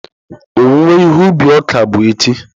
Owuwe ihe ubi ọka bụ echi.